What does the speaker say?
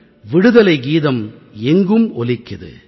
விடுதலைகீதம் எங்கும் ஒலிக்குது